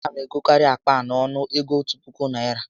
A na m egokarị akpa a n'ọnụ ego òtù puku Naịra